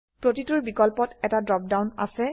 প্ৰতিটোৰ বিকল্পত এটা ড্ৰপ ডাউন আছে